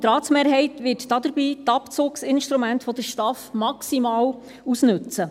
Und die Ratsmehrheit wird dabei die Abzugsinstrumente der STAF maximal ausnützen.